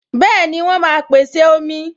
Bẹẹni, wọn máa pèsè omi.